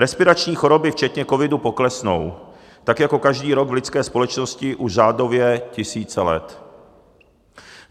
Respirační choroby včetně covidu poklesnou, tak jako každý rok v lidské společnosti už řádově tisíce let.